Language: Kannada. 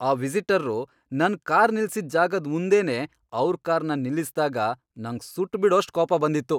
ಆ ವಿಸಿಟರ್ರು ನನ್ ಕಾರ್ ನಿಲ್ಸಿದ್ ಜಾಗದ್ ಮುಂದೆನೇ ಅವ್ರ್ ಕಾರ್ನ ನಿಲ್ಲಿಸ್ದಾಗ ನಂಗ್ ಸುಟ್ಬಿಡೋಷ್ಟ್ ಕೋಪ ಬಂದಿತ್ತು.